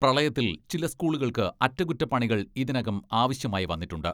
പ്രളയത്തിൽ ചില സ്കൂളുകൾക്ക് അറ്റകുറ്റപ്പണികൾ ഇതിനകം ആവശ്യമായി വന്നിട്ടുണ്ട്.